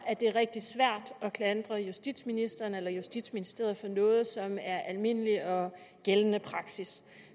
at det er rigtig svært at klandre justitsministeren eller justitsministeriet for noget som er almindelig og gældende praksis